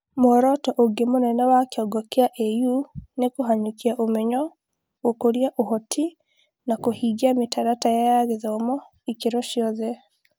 Muoroto ũngĩ mũnene wa kĩongo kĩa AU nĩ kũhanyũkia ũmenyo, gũkũria ũhoti, na kũhingia mĩtaratara ya gĩthomo ikĩro ciothe.